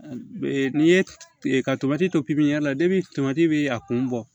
N'i ye ka tomati to pipiniyɛri la tomati bɛ a kun bɔ